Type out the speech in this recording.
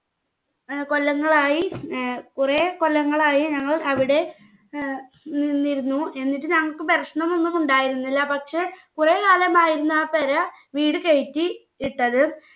ഏർ കൊല്ലങ്ങളായി ഏർ കുറേ കൊല്ലങ്ങളായിഞങ്ങൾ അവിടെ ഏർ നിന്നിരുന്നു. എന്നിട്ട് ഞങ്ങക്ക് പ്രശ്നമൊന്നും ഉണ്ടായിരുന്നില്ല പക്ഷെ കുറെ കാലമായിരുന്നു ആ പെര വീട് കേറ്റി ഇട്ടത്.